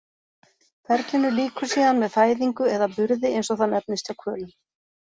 Ferlinu lýkur síðan með fæðingu eða burði eins og það nefnist hjá hvölum.